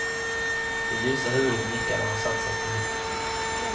Det ljusa huvudet nickade, och han satte sig på huk.